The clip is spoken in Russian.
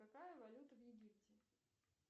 какая валюта в египте